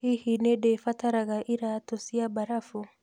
Hihi nĩ ndĩbataraga iraatũ cia mbarabu